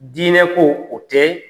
Diinɛ ko, o tɛ